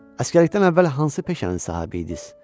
Əsgərlikdən əvvəl hansı peşənin sahibi idiniz?